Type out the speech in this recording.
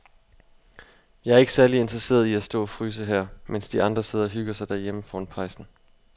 Jeg er ikke særlig interesseret i at stå og fryse her, mens de andre sidder og hygger sig derhjemme foran pejsen.